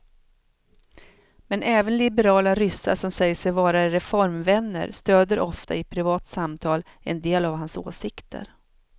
Men även liberala ryssar som säger sig vara reformvänner stöder ofta i privata samtal en del av hans åsikter.